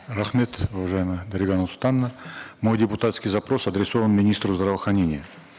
рахмет уважаемая дарига нурсултановна мой депутатский запрос адресован министру здравоохранения